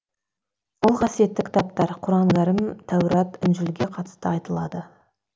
ол қасиетті кітаптар құран кәрім тәурат інжілге қатысты айтылады